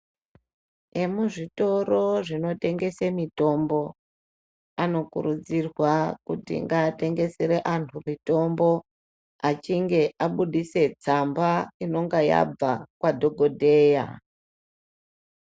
Nemuzvitoro zvinotengeswa mitombo anokurudzirwa kuti bgatengesere antu mutombo achinge abudise tsamba inenge yabva Kuna dhokodheya.